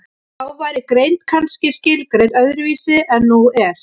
Þá væri greind kannski skilgreind öðru vísi en nú er.